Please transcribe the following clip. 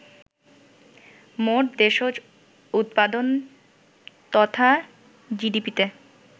মোট দেশজ উৎপাদন তথা জিডিপিতে